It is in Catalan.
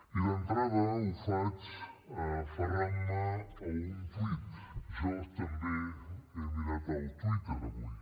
i d’entrada ho faig aferrant me a un tuit jo també he mirat el twitter avui